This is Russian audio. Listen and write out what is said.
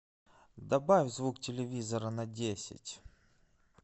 добавь звук телевизора на десять